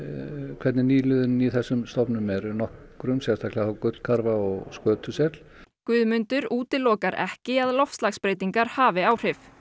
hvernig nýliðun í þessum stofnum er nokkrum sérstaklega gullkarfa og skötusel Guðmundur útilokar ekki að loftslagsbreytingar hafi áhrif